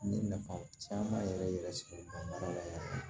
N ye nafa caman yɛrɛ yɛrɛ sɔrɔ n ka baara la